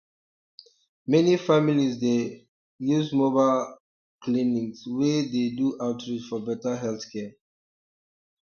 many families dey um use mobile um clinics wey dey do outreach for better healthcare